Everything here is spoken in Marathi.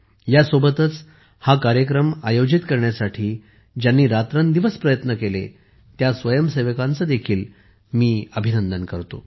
यासोबतच हा कार्यक्रम आयोजित करण्यासाठी ज्यांनी रात्रंदिवस प्रयत्न केला त्या स्वयंसेवकांचे देखील अभिनंदन करतो